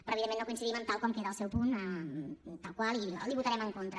però evidentment no coincidim tal com queda el seu punt tal qual i l’hi votarem en contra